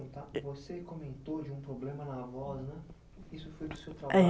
Você comentou de um problema na voz, né? Isso foi